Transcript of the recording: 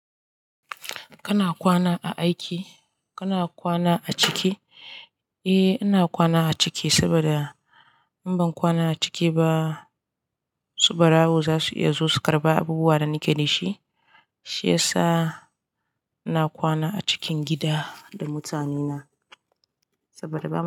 Kana kwana a aiki? Kana kwana a ciki? Eh, ina kwana a ciki saboda, in ban kwana a ciki ba, su barawo za su iya zo su karɓe abubuwa da nike da shi, shi yasa ina kwana a cikin gida da mutane na saboda ba mu.